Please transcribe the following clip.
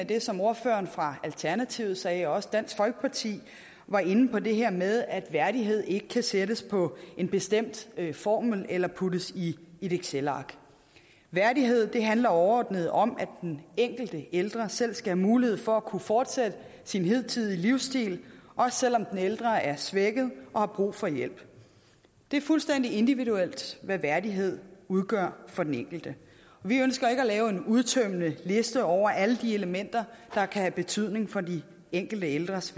det som ordføreren fra alternativet sagde og også dansk folkeparti var inde på det her med at værdighed ikke kan sættes på en bestemt formel eller puttes i et excelark værdighed handler overordnet om at den enkelte ældre selv skal have mulighed for at kunne fortsætte sin hidtidige livsstil også selv om den ældre er svækket og har brug for hjælp det er fuldstændig individuelt hvad værdighed udgør for den enkelte vi ønsker ikke at lave en udtømmende liste over alle de elementer der kan have betydning for de enkelte ældres